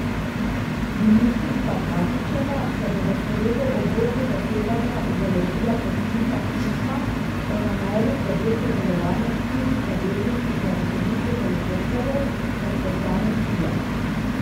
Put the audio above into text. Ministrica Katičeva se bo v sredo ob robu zasedanja udeležila podpisa pisma o nameri glede sodelovanja štirih zaveznic pri zagotovitvi helikopterjev za specialne sile.